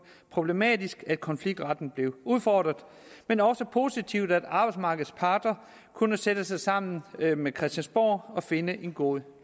problematisk at konfliktretten blev udfordret men også positivt at arbejdsmarkedets parter kunne sætte sig sammen med christiansborg og finde en god